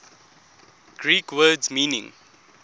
greek words meaning